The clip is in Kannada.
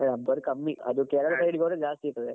ರಬ್ಬರ್ ಕಮ್ಮಿ ಅದು ಕೇರಳ side ಹೋದ್ರೆ ಜಾಸ್ತಿ ಇರ್ತದೆ.